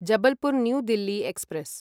Jabalpur New Delhi express